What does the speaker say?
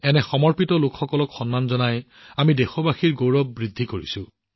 এনে সমৰ্পিত লোকসকলক সন্মান জনাই আমাৰ দেশবাসীৰ গৌৰৱ বৃদ্ধি পাইছে